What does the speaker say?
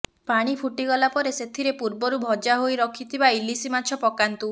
ପାଣି ଫୁଟିଗଲା ପରେ ସେଥିରେ ପୂର୍ବରୁ ଭଜା ହୋଇ ରଖିଥିବା ଇଲିସି ମାଛ ପକାନ୍ତୁ